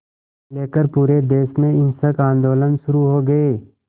लेकर पूरे देश में हिंसक आंदोलन शुरू हो गए